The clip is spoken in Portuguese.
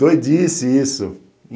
Doidice isso.